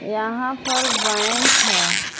यहां पर बैंक है।